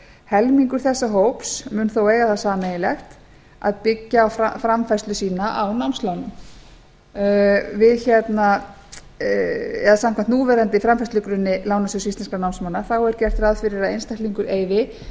helmingur þessa hóps mun þó eiga það sameiginlegt að byggja framfærslu sína á námslánum samkvæmt núverandi framfærslugrunni lánasjóðs íslenskum námsmanna er gert ráð fyrir að einstaklingur eyði